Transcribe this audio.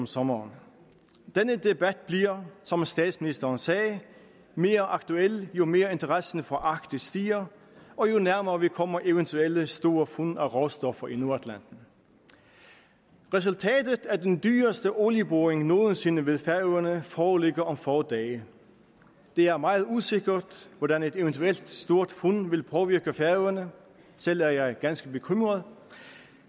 sommeren denne debat bliver som statsministeren sagde mere aktuel jo mere interessen for arktis stiger og jo nærmere vi kommer eventuelt store fund af råstoffer i nordatlanten resultatet af den dyreste olieboring nogensinde ved færøerne foreligger om få dage det er meget usikkert hvordan et eventuelt stort fund vil påvirke færøerne selv er jeg ganske bekymret